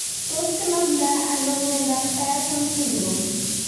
Tos kinamda ano miondap Pierson syndrome.